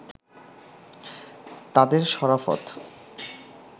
তাঁদের সরাফত